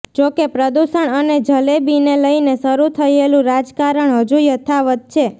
જો કે પ્રદૂષણ અને જલેબીને લઈને શરૂ થયેલું રાજકારણ હજુ યથાવત છે